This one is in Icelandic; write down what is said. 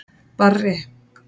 Barri